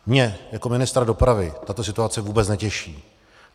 Mě jako ministra dopravy tato situace vůbec netěší.